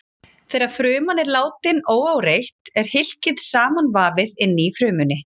Þegar fruman er látin óáreitt er hylkið samanvafið inni í frumunni.